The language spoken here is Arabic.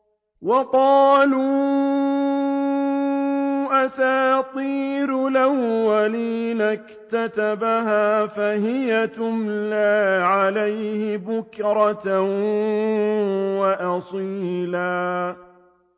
وَقَالُوا أَسَاطِيرُ الْأَوَّلِينَ اكْتَتَبَهَا فَهِيَ تُمْلَىٰ عَلَيْهِ بُكْرَةً وَأَصِيلًا